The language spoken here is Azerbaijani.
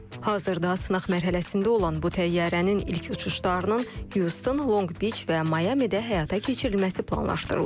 Hazırda sınaq mərhələsində olan bu təyyarənin ilk uçuşlarının Houston, Long Beach və Miamidə həyata keçirilməsi planlaşdırılır.